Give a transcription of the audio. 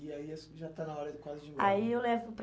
E aí isso já está na hora de quase de ir embora. Aí eu levo